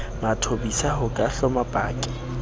mathobisa ho ka hloma paki